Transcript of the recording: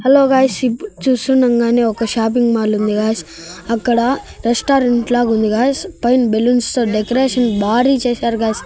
Hello guys ఇప్పు చూస్తుండగానే ఒక షాపింగ్ మాల్ ఉంది గైస్ అక్కడ రెస్టారెంట్ లాగా ఉంది గైస్ పైన బెలూన్స్ తో డెకరేషన్ బారి చేశారు గైస్ .